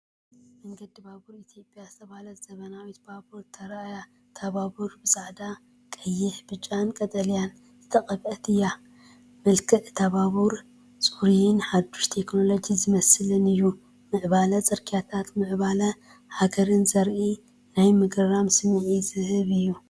መንገዲ ባቡር ኢትዮጵያ ዝተባህለት ዘመናዊት ባቡር ተራእያ። እታ ባቡር ብጻዕዳ፡ ቀይሕ፡ ብጫን ቀጠልያን ዝተቐብአት እያ። መልክዕ እታ ባቡር ጽሩይን ሓድሽ ቴክኖሎጂ ዝመስልን እዩ። ምዕባለ ጽርግያታትን ምዕባለ ሃገርን ዘርኢን ናይ ምግራም ስምዒት ዝህብን እዩ።